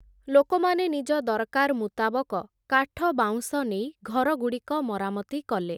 ଲୋକମାନେ ନିଜ ଦରକାର୍ ମୁତାବକ, କାଠ ବାଉଁଶ ନେଇ ଘରଗୁଡ଼ିକ ମରାମତି କଲେ ।